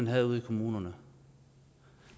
havde ude i kommunerne